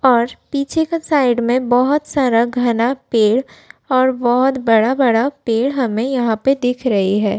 और पीछे क साइड में बोहोत सारा घना पेड़ और बोहोत बड़ा-बड़ा पेड़ हमें यहाँ पे दिख रहे हैं।